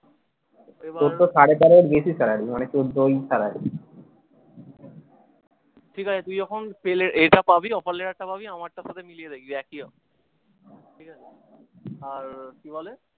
তোর তো সাড়ে তেরোর বেশি salary মানে চোদ্দই salary ঠিকাছে তুই যখন পেল এটা পাবি offer letter টা পাবি আমার টা তখন দিয়ে দেখবি একই আসবে। আর কি বলে